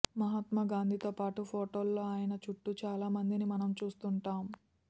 మహాత్మా గాంధీతోపాటు ఫొటోల్లో ఆయన చుట్టూ చాలా మందిని మనం చూస్తుంటాం